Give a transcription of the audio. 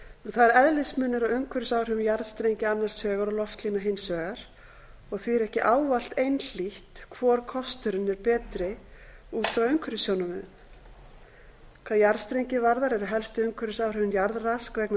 það er eðlismunur á umhverfisáhrifum jarðstrengja annars vegar og loftlína hins vegar og því ekki ávallt einhlítt hvor kosturinn er betri út frá umhverfissjónarmiðum hvað jarðstrengi varðar eru helstu umhverfisáhrifin jarðrask vegna